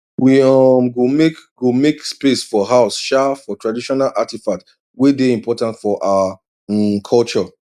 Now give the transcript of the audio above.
we um go make go make space for house um for traditional artifact way day important for our um culture